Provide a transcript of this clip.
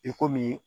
I komi